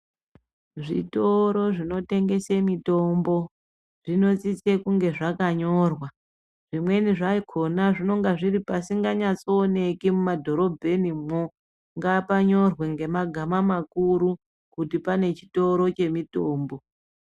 Zvitoro zvinotengese mitombo zvinosise kunge zvakanyorwa. Zvimweni zvakona zvinonga zviri pasinganyaso oneki mumadhorobhenimwo. Ngapanyore ngemagama makuru kuti pane chitoro chemitombo.